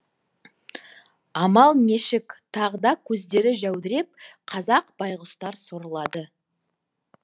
амал нешік тағы да көздері жәудіреп қазақ байғұстар сорлады